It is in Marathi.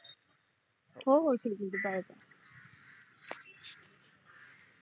हो हो ठीक आहे bye bye